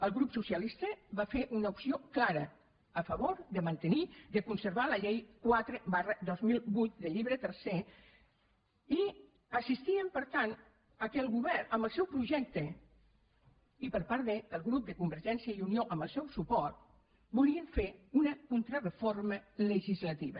el grup socialista va fer una opció clara a favor de mantenir de conservar la llei quatre dos mil vuit del llibre tercer i assistíem per tant al fet que el govern amb el seu projecte i per part del grup de convergència i unió amb el seu suport volien fer una contrareforma legislativa